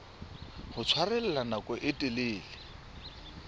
ho tshwarella nako e telele